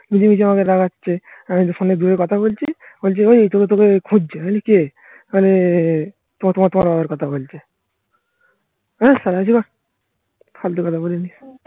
নিজে নিজে আমাকে লাগাচ্ছে. আমি তো ফোনে দূরে কথা বলছি. বলছে ওই তোকে তোকে খুঁজছে বলি কে মানে তোমার তোমার তোমার বাবার কথা বলছে. হ্যাঁ কথা বলিনি